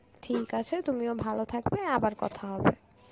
ঠিক আছে তুমিও ভালো থাকবে, আবার কথা হবে.